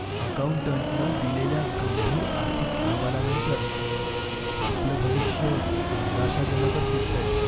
अकाऊंटंटनं दिलेल्या गंभीर आर्थिक अहवालानंतर आपलं भविष्य निराशाजनकच दिसतंय.